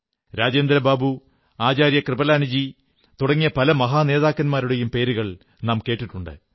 രാജേന്ദ്രബാബു ആചാര്യ കൃപലാനിജീ തുടങ്ങിയ പല മഹാ നേതാക്കന്മാരുടെയും പേരുകൾ നാം കേട്ടിട്ടുണ്ട്